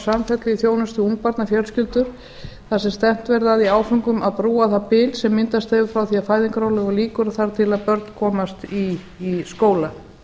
samfellu í þjónustu við ungbarnafjölskyldur þar sem stefnt verði að því í áföngum að brúa það bil sem myndast hefur frá því að fæðingarorlofi lýkur og þar til börn komast í skóla